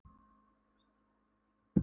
Hann naut þess að vera aðalnúmerið í hópnum.